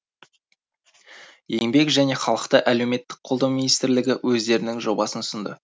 еңбек және халықты әлеуметтік қолдау министрлігі өздерінің жобасын ұсынды